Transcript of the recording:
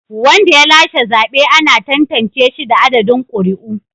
Wanda ya lashe zabe ana tantance shi da adadin ƙuri'u.